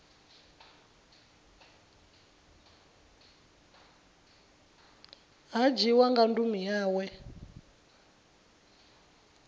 ha dzhiiwa nga ndumi yawe